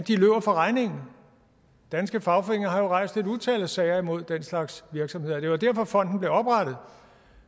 løber fra regningen danske fagforeninger har jo rejst et utal af sager imod den slags virksomheder og det var derfor fonden blev oprettet